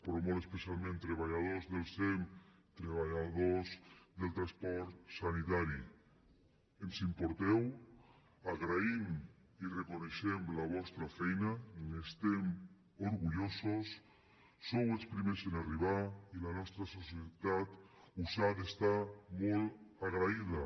però molt especialment treballadors del sem treballadors del transport sanitari ens importeu agraïm i reconeixem la vostra feina n’estem orgullosos sou els primers en arribar i la nostra societat us ha d’estar molt agraïda